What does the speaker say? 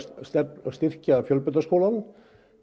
styrkja fjölbrautaskólann